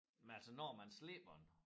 Men altså når man slipper den